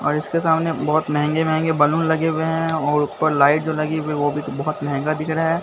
और इसके सामने बहुत महंगे महंगे बैलून लगे हुए हैं और ऊपर लाइट जो लगी हुई वो भी बहुत महंगा दिख रहा है।